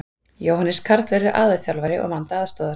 Jóhannes Karl verður aðalþjálfari og Vanda aðstoðar.